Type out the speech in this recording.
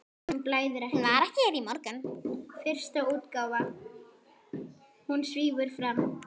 Hún var hér í morgun.